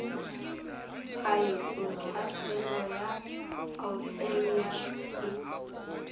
tshwaetso tlhaselo ya alternaria e